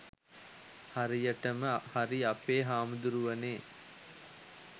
හරියටම හරි අපේ හාමුදුරුවනේ